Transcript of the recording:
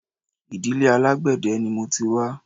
Ìdílé alágbẹ̀dẹ ni mo ti wá